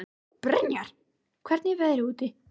Brynjar, hvernig er veðrið úti?